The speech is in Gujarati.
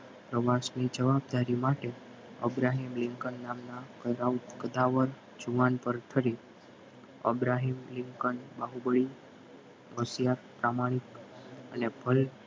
પ્રવાસની જવાબદારી માટે અબ્રાહિમ લિંકન નામના ગધવર્થ અબ્રાહિમ લિંકન બાહુબલી હોશિયાર પ્રમાણિક અને